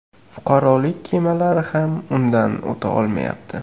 Fuqarolik kemalari ham undan o‘ta olmayapti.